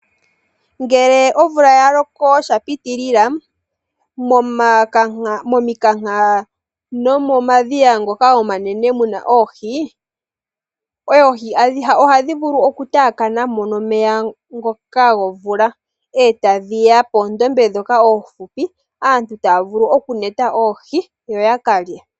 Ngele omvula ya loko shapitilila mominkanka nomomadhiya ngoka omanene mu na oohi, oohi oha dhi vulu okutaakanamo nomeya ngoka gomvula e tadhi ya poondombe ndhoka oofupi aantu taya vulu okukwata oohi yo ya kalye.